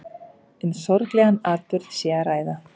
Um sorglegan atburð sé að ræða